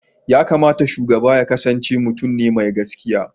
yakamata shugaba yaƙasance mutun ne me gaskiya